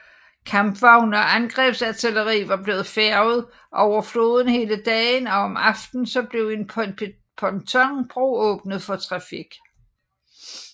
Kampvogne og angrebsartilleri var blevet færget over floden hele dagen og om aftenen blev en pontonbro åbnet for trafik